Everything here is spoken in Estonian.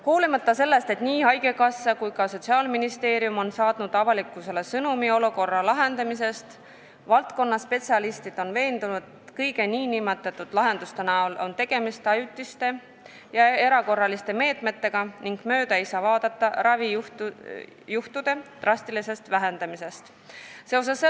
Hoolimata sellest, et nii haigekassa kui ka Sotsiaalministeerium on saatnud avalikkusele sõnumi olukorra lahendamisest, on valdkonna spetsialistid veendunud, et kõikide nende nn lahenduste puhul on tegemist ajutiste ja erakorraliste meetmetega ning ravijuhtude drastilisest vähendamisest ei saa mööda vaadata.